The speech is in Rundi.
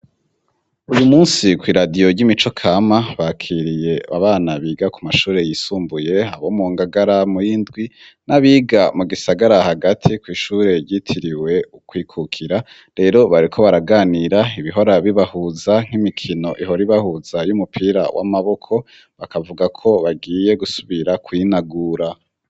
Uyu munsi kw'iradiyo ry'imico kama bakiriye abana biga ku mashure yisumbuye abo mu ngagara muw'indwi n'abiga mu gisagara hagati kw'ishure ryitiriwe ukwikukira, rero bariko baraganira ibihora bibahuza nk'imikino ihoribahuza y'umupira w'amaboko, bakavuga ko bagiye gusubira kwinagura.